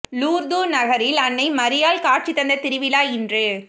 Lourdes நகரில் அன்னை மரியாள் காட்சி தந்த திருவிழா இன்று